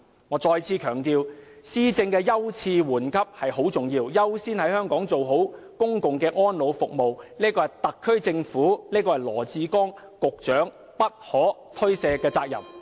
我再次強調，施政的優次緩急很重要，優先在香港做好公共安老服務，是特區政府及羅致光局長不可推卸的責任。